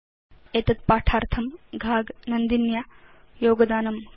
एतद् पाठार्थं घाग नन्दिन्या योगदानं कृतम्